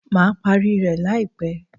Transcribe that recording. Má parí rẹ̀ láìpẹ́.